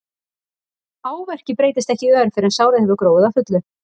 Áverki breytist ekki í ör fyrr en sárið hefur gróið að fullu.